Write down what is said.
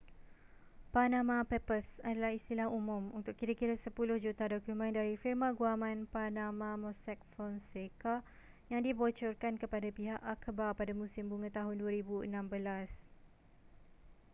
panama papers adalah istilah umum untuk kira-kira sepuluh juta dokumen dari firma guaman panama mossack fonseca yang dibocorkan kepada pihak akhbar pada musim bunga tahun 2016